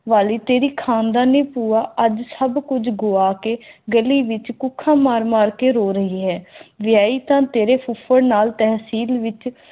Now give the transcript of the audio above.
ਵਾਲੀ ਤੇਰੀ ਖਾਨਦਾਨੀ ਭੂਆ ਆਦਿ ਸਭ ਕੁਝ ਗੁਆ ਕੇ ਗਲੀ ਵਿਚ ਭੁੱਖਾ ਮਾਰ ਮਾਰ ਕੇ ਰੋ ਰਹੀ ਹੈ ਵਿਆਹੀ ਤੇ ਤੇਰੇ ਫੁਫੜ ਨਾਲ ਈ ਤਹਿਸੀਲ ਵਿਚ